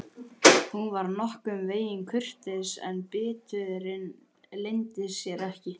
Hún var nokkurn veginn kurteis en biturðin leyndi sér ekki.